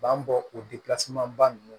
U b'an bɔ o ba ninnu